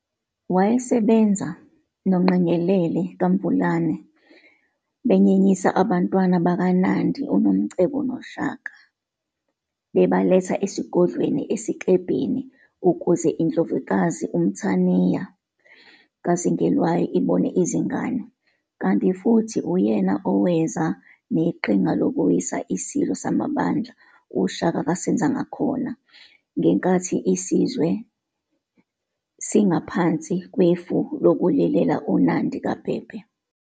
Wayesebenza noNgqengelele kaMvulane, benyenyisa ubantwana bakaNandi uNomcebo noShaka bebaletha esigodlweni eSiklebheni ukuze indlovukazi uMthaniya kaZingelwayo ibone izingane. Kanti futhi uyena oweza neqhinga lokuwisa isilo samabandla uShaka kaSenzangakhona ngenkathi isizwe singaphansi kwefu sokulilela uNandi kaBhebhe.